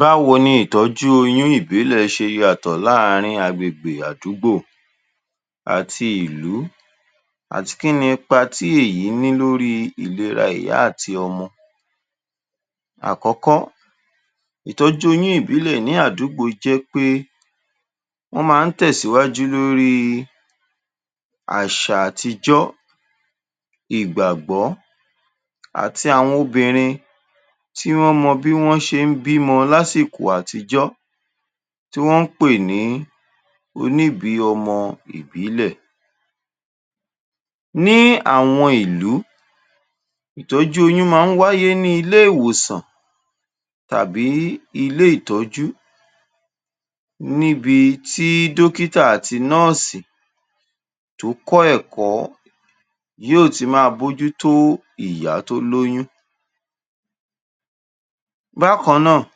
Báwo ni ìtọjú oyún ìbílẹ̀ ṣe yàtọ̀ láàrín agbègbè àdúgbò àti ìlú. Àti kíni ipá tí èyí ní lórí ìlera ìyá àti ọmọ. Àkókò, ìtọjú oyún ìbílẹ̀ ní àdúgbò jẹ́ pé wọ́n maá ń tẹ̀síwájú lórí àṣà àtijọ, ìgbàgbọ, àti àwọn obìnrin tí wọ́n mọ ti wọ́n ṣe ń bí mọ lásìkò àtijọ, tí wọ́n ń pè ní òníbìímọ ìbílẹ̀. Ní àwọn ìlú, ìtọjú oyún maá ń wáyé ní ilé ìwòsàn tàbí ilé ìtọjú. Níbi tí dókítà àti nọ́ọ̀sì, tó kọ́ ẹ̀kọ́ yóo, tí maá bó jú tó ìyá tó lóyún. Bákan náà,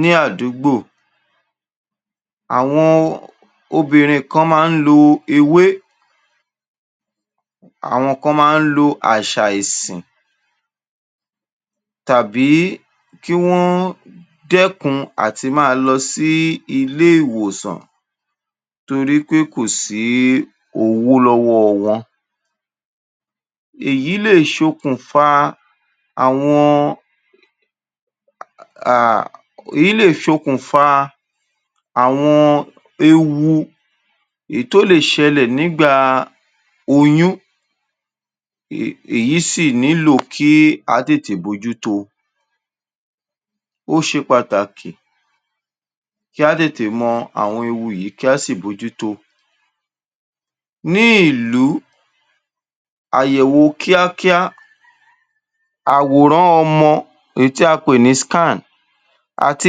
ní àdúgbò, àwọn obìnrin kan maá ń lo ewé, àwọn kan maá ń lo àṣà ẹ̀sìn tàbí kí wọ́n dẹ́kun àti maá lọ sí ilé ìwòsàn torípé kò sí owó lọ́wọ́ wọn. Èyí lè ṣokùnfà àwọn, um èyí lè ṣokùnfà àwọn ewu, èyí tó lè ṣẹlẹ̀ nígbà oyún. um èyí sì nílò kí á tètè bojú tó o. Ó ṣe pàtàkì kí á tètè mọ àwọn ewu yìí kí á sì bójú tó o. Ní ìlú, àyẹ̀wò kíákíá, àwòrán ọmọ èyí tí a pè ní àti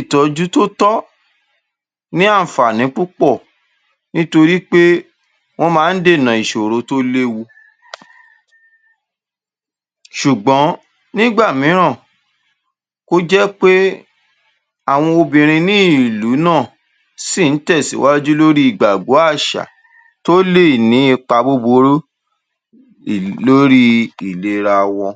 ìtọjú tó tọ́, ní anfààní púpọ̀ nítorípé wọ́n maá ń dènà ìṣòro tó léwu ṣùgbọ́n nígbà mìíràn, kó jépé àwọn obìnrin ní ìlú náà síì ń tẹ̀síwájú lórí ìgbàgbọ àṣà tó lè ní ipa búburú ìle lórí ìlera wọn.